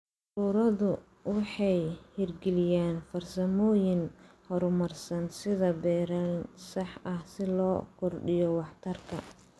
Ururadu waxay hirgeliyaan farsamooyin horumarsan sida beeralayn sax ah si loo kordhiyo waxtarka.